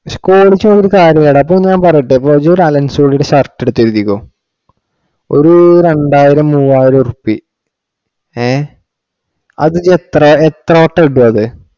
Quality കൊണ്ട് കാര്യം ഇല്ലടാ ഇപ്പൊ ഞാൻ പറയട്ടെ Allen Solly ഇടെ shirt എടുത്തെഴുതിക്കോ. ഒരു രണ്ടായിരം മുവായിരം റുപ്യ ഹേ അത് എത്ര വട്ടം കിട്ടും അത്